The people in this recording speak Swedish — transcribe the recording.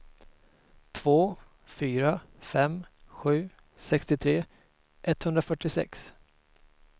två fyra fem sju sextiotre etthundrafyrtiosex